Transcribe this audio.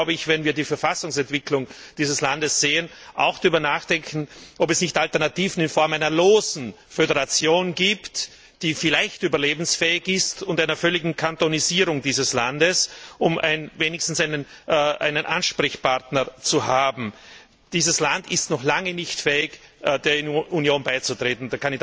Wir müssen, wenn wir die Verfassungsentwicklung dieses Landes sehen, auch darüber nachdenken, ob es nicht Alternativen in Form einer losen Föderation die vielleicht überlebensfähig ist und einer völligen Kantonisierung dieses Landes gibt, um wenigstens einen Ansprechpartner zu haben. Dieses Land ist noch lange nicht fähig, der Union beizutreten.